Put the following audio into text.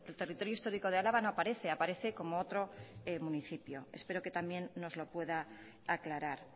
territorio histórico de álava no aparece aparece como otro municipio espero que también nos lo pueda aclarar